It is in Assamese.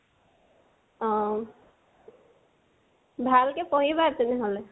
অহ। ভাল কে পঢ়িবা তেনেহলে।